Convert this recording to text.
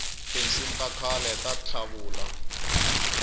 tinsimu takhale tatlavula